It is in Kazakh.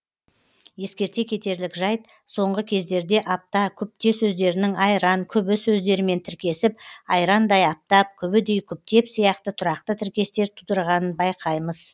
ескерте кетерлік жайт соңғы кездерде апта күпте сөздерінің айран күбі сөздерімен тіркесіп айрандай аптап күбідей күптеп сияқты тұрақты тіркестер тудырғанын байқаймыз